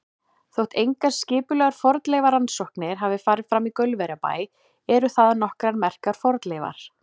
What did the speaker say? Þótt engar skipulegar fornleifarannsóknir hafi farið fram í Gaulverjabæ eru þaðan nokkrar merkar fornleifar.